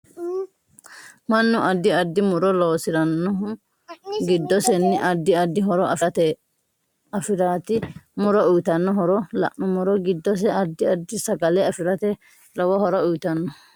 mannu addi addi muro loosiranohu giddoseni addi addi horo afiraraati muro uyiitanno horo la'numoro giddose addi addi sagale afirate lowo horo uyiitanno